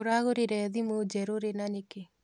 ũragũrie thimũ njerũ rĩ na nĩkĩ?